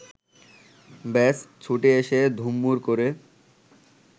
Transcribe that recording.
ব্যস, ছুটে এসে ধুম্মুর করে